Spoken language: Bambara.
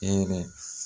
Hɛrɛ